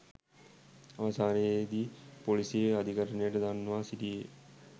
අවසානයේදි පොලිසිය අධිකරණයට දන්වා සිටියේ